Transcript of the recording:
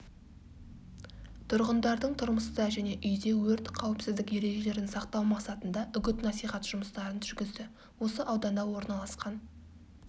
тұрғындардың тұрмыста және үйде өрт қауіпсіздік ережелерін сақтау мақсатында үгіт-насихат жұмыстарын жүргізді осы ауданда орналасқан